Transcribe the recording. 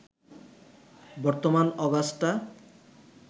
বর্তমান অগাস্টা